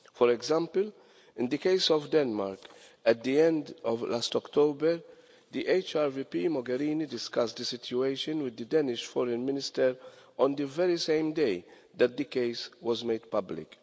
For example, in the case of Denmark at the end of last October, HR VP Mogherini discussed the situation with the Danish Foreign Minister on the very same day that the case was made public.